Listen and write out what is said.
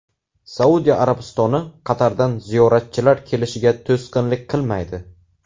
Saudiya Arabistoni Qatardan ziyoratchilar kelishiga to‘sqinlik qilmaydi.